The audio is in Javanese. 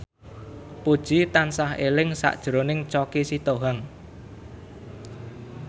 Puji tansah eling sakjroning Choky Sitohang